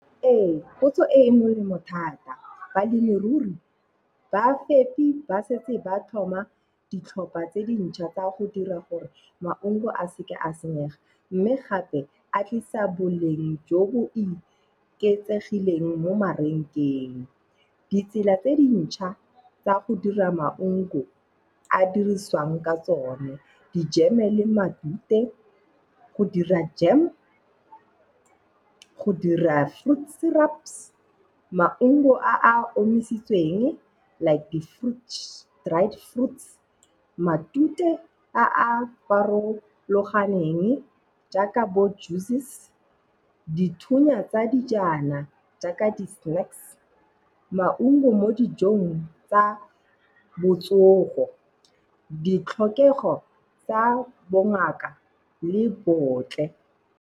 Ee, potso e e molemo thata. Balemirui, bafepi ba setse ba thoma ditlhopha tse dintšha tsa go dira gore maungo a seka a senyega. Mme gape a tlisa boleng jo bo iketsegileng mo marenkeng. Ditsela tse dintšha tsa go dira maungo a dirisiwang ka tsone. Dijeme le matute, go dira jam, go dira fruits syrups maungo, a a omisitsweng like di-fruits, dried fruits. Matute a a farologaneng jaaka bo juices, dithunya tsa dijana jaaka di-snacks, maungo mo dijong tsa botsogo ditlhokego tsa bongaka le botle.